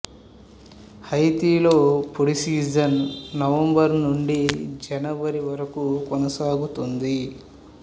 హైతీలో పొడి season November నుండి జనవరి వరకు కొనసాగుతుంది